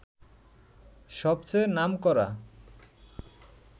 সবচেয়ে নামকরা